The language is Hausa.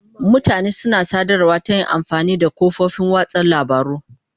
Mutane suna sadarwa ta yin amfani da kafofin watsa labarun.